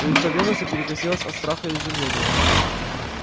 лицо венуса перекосилось от страха и изумления